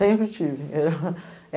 Sempre tive.